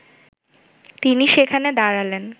তিনি সেখানে দাঁড়ালেন